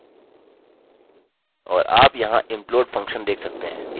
और आप यहाँ implode फंक्शन देख सकते हैं इसे join भी कहते हैं